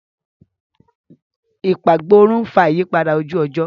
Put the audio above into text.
Ìpagbórun ń fà ìyípadà ojú-ọjọ́.